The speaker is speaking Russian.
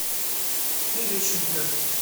терещенко